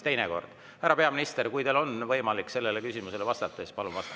Härra peaminister, kui teil on võimalik sellele küsimusele vastata, siis palun vastake.